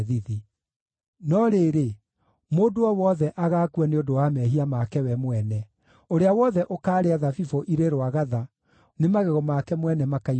No rĩrĩ, mũndũ o wothe agaakua nĩ ũndũ wa mehia make we mwene; ũrĩa wothe ũkaarĩa thabibũ irĩ rwagatha, nĩ magego make mwene makaigua thithi.”